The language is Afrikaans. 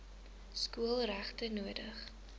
skool regtig nodig